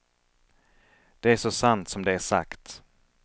Det är så sant som det är sagt.